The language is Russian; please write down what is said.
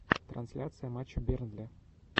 трансляция матча бернли